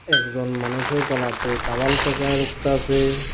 একজন মানুষের কলার তে তাওয়াল প্যাচায়া ডুকতাছে।